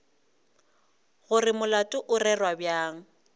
gore molato o rerwa bjang